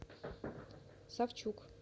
савчук